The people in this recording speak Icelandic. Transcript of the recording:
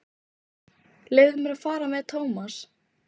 Leyfðu mér að fara með Thomas.